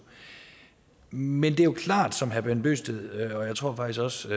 men det er klart som herre bent bøgsted og faktisk også